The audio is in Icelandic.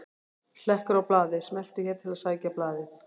Hlekkur á blaðið: Smelltu hér til að sækja blaðið